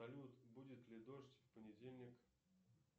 салют будет ли дождь в понедельник